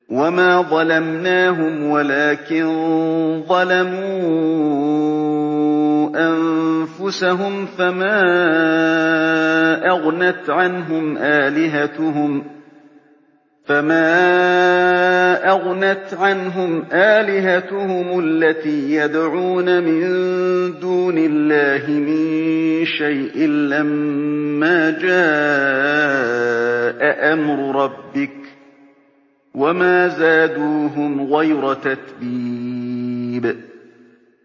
وَمَا ظَلَمْنَاهُمْ وَلَٰكِن ظَلَمُوا أَنفُسَهُمْ ۖ فَمَا أَغْنَتْ عَنْهُمْ آلِهَتُهُمُ الَّتِي يَدْعُونَ مِن دُونِ اللَّهِ مِن شَيْءٍ لَّمَّا جَاءَ أَمْرُ رَبِّكَ ۖ وَمَا زَادُوهُمْ غَيْرَ تَتْبِيبٍ